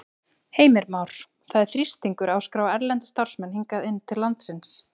Heimir Már: Það er þrýstingur á að skrá erlenda starfsmenn hingað inn til landsins?